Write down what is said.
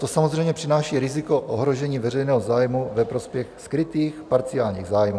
To samozřejmě přináší riziko ohrožení veřejného zájmu ve prospěch skrytých parciálních zájmů.